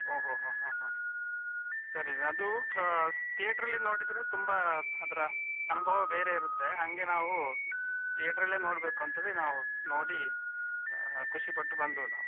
ಒಹ್ ಒಹ್ ಹ ಹ ಸರಿ ಅದು ಹ theater ಲ್ಲಿ ನೋಡಿದ್ರೆ ತುಂಬ ಅದರ ಅನುಭವ ಬೇರೇ ಇರುತ್ತೆ ಹಂಗೆ ನಾವು theater ಲ್ಲೇ ನೋಡ್ಬೇಕು ಅಂತವೇ ನಾವು ನೋಡಿ ಖುಷಿ ಪಟ್ಟು ಬಂದ್ವಿ ನಾವು.